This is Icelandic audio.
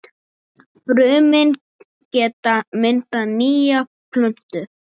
Brumin geta myndað nýja plöntu.